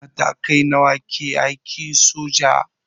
Matakai nawa ke aikin soja?